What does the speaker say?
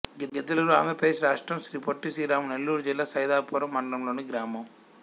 గ్రిద్దలూరు ఆంధ్ర ప్రదేశ్ రాష్ట్రం శ్రీ పొట్టి శ్రీరాములు నెల్లూరు జిల్లా సైదాపురం మండలం లోని గ్రామం